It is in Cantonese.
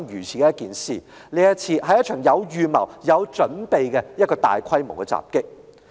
這是一宗有預謀、有準備的大規模襲擊。